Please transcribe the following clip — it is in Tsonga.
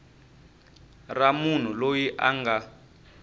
ra munhu loyi a nga